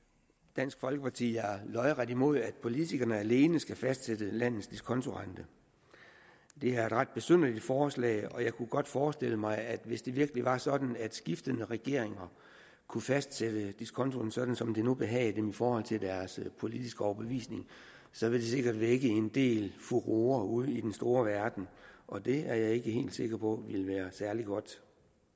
dansk folkeparti er lodret imod at politikerne alene skal fastsætte landets diskonteringsrente det er et ret besynderligt forslag og jeg kunne godt forestille mig at hvis det virkelig var sådan at skiftende regeringer kunne fastsætte diskontoen sådan som det nu behagede dem i forhold til deres politiske overbevisning så ville det sikkert vække en del furore ude i den store verden og det er jeg ikke helt sikker på ville være særlig godt